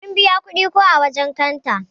Mun biya kudi ko ã wajen kanta.